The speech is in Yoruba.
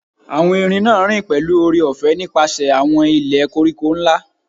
Awọn erin naa rin pẹlu oore-ọfẹ nipasẹ awọn ilẹ koriko nla